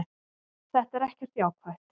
Þetta er ekkert jákvætt.